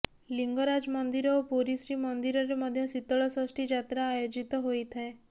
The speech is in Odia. ଲିଂଗରାଜ ମନ୍ଦିର ଓ ପୁରୀ ଶ୍ରୀ ମନ୍ଦିର ରେ ମଧ୍ୟ ଶୀତଳ ଷଷ୍ଠୀ ଯାତ୍ରା ଆୟୋଜିତ ହୋଇଥାଏ